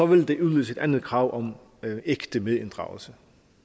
ville det udløse et andet krav om ægte medinddragelse